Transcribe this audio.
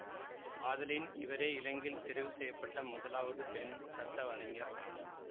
ஆதலின் இவரே இலங்கையில் தெரிவு செய்ய பட்ட முதலாவது பெண் சட்டவரைஞர் ஆவார்